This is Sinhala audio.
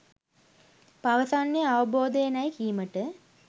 පවසන්නේ අවබෝධයෙනැයි කීමට